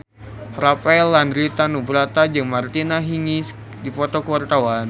Rafael Landry Tanubrata jeung Martina Hingis keur dipoto ku wartawan